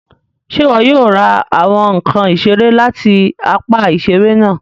Ṣe iwọ yóò ra awọn nkán iṣere láti apá iṣere náà